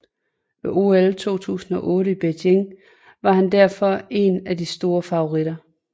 Ved OL 2008 i Beijing var han derfor en af de store favoritter